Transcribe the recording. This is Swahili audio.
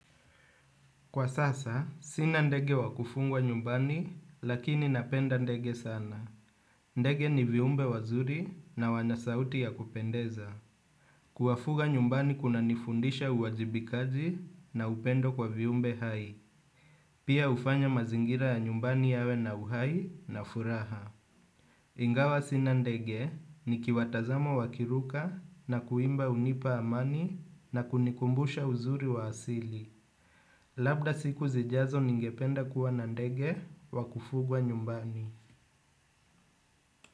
Kwa sasa, sina ndege wakufungwa nyumbani, lakini napenda ndege sana. Ndege ni viumbe wazuri na wanasauti ya kupendeza. Kuwafuga nyumbani kuna nifundisha uwajibikaji na upendo kwa viumbe hai. Pia hufanya mazingira ya nyumbani yawe na uhai na furaha. Ingawa sina ndege nikiwatazama wakiruka na kuimba hunipa amani na kunikumbusha uzuri wa asili. Labda siku zijazo ningependa kuwa na ndege wa kufugwa nyumbani.